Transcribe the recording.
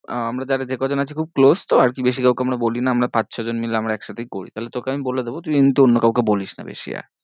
আহ আমরা দেখ যে কজন আছি খুব close তো আর কি বেশি কাউকে আমরা বলি না আমরা পাঁচ ছ জন মিলে আমরা একসাথেই করি, তাহলে তোকে আমি বলে দেব তুই কিন্তু অন্য কাউকে বলিস না বেশি